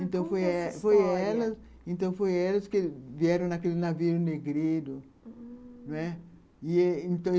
Então, foi elas que vieram naquele navio negrito. Hum...